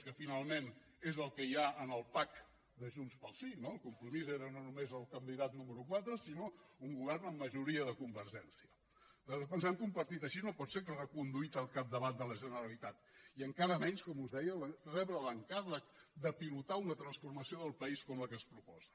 que finalment és el que hi ha en el pack el candidat número quatre sinó un govern amb majoria de convergència nosaltres pensem que un partit així no pot ser reconduït al capdavant de la generalitat i encara menys com us deia rebre l’encàrrec de pilotar una transformació del país com la que es proposa